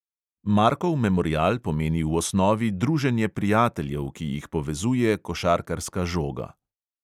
Markov memorial pomeni v osnovi druženje prijateljev, ki jih povezuje košarkarska žoga.